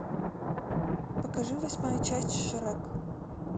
покажи восьмая часть шрек